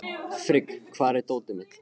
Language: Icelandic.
Frigg, hvar er dótið mitt?